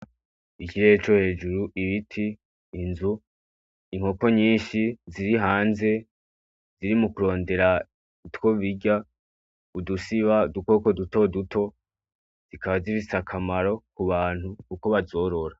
Ikirere co hejuru, ibiti, inzu, inkoko nyinshi ziri hanze ziriko zirondera utwo birya, udusiba udukoko dutoduto zikaba zifise akamaro ku bantu kuko bazorora.